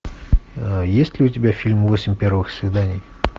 есть ли у тебя фильм восемь первых свиданий